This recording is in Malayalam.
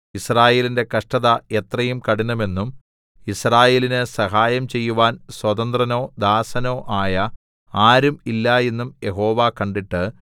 യിസ്രായേലിന്റെ കഷ്ടത എത്രയും കഠിനമെന്നും യിസ്രായേലിന് സഹായം ചെയ്യുവാൻ സ്വതന്ത്രനോ ദാസനോ ആയ ആരും ഇല്ല എന്നും യഹോവ കണ്ടിട്ട്